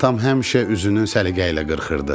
Atam həmişə üzünü səliqə ilə qırxırdı.